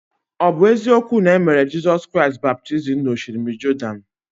Ọ̀ bụ eziokwu na e mere Jizọs Kraịst baptizim n’Osimiri Jọdan?